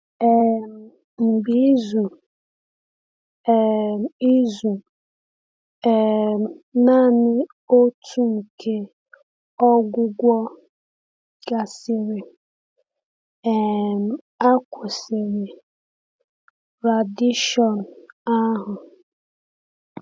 um Mgbe izu um izu um naanị otu nke ọgwụgwọ gasịrị, um a kwụsịrị radieshon ahụ.